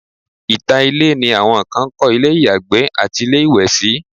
ìta ilé ni awọn kan ń kọ́ ilé ìyàgbẹ́ àti ilé ìwẹ̀ sí